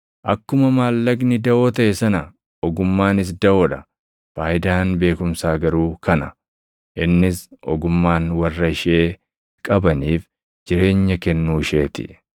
Akkuma maallaqni daʼoo taʼe sana ogummaanis daʼoo dha; faayidaan beekumsaa garuu kana: innis ogummaan warra ishee qabaniif jireenya kennuu ishee ti.